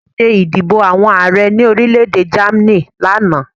Wọ́n ṣé ìdìbò àwọn Ààrẹ ní orílẹ̀-èdè Germany lánàá